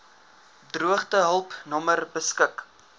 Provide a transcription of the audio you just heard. droogtehulp nommer beskik